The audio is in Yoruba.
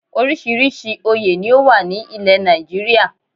Orísìírísìí oyè ni ó wà ní ilẹ̀ Nàìjíríà